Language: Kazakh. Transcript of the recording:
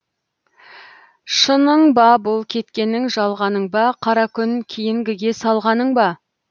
шының ба бұл кеткенің жалғаның ба қара күн кейінгіге салғаның ба